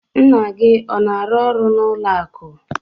Nna gị ọ na-arụ ọrụ n'ụlọ akụ?